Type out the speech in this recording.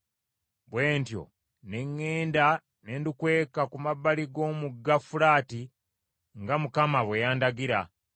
Bwe ntyo ne ŋŋenda ne ndukweka ku mabbali g’omugga Fulaati nga Mukama bwe yandagira.